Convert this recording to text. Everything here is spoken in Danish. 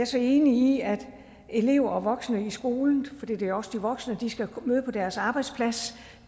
så enig i at elever og voksne i skolen for det er også de voksne der skal møde på deres arbejdsplads